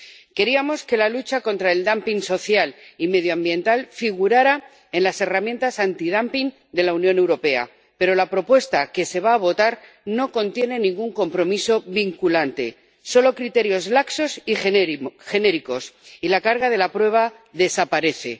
Queríamos que la lucha contra el dumping social y medioambiental figurara entre las herramientas antidumping de la Unión Europea, pero la propuesta que se va a votar no contiene ningún compromiso vinculante, solo criterios laxos y genéricos, y la carga de la prueba desaparece.